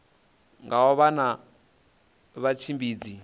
nga u vha na vhatshimbidzi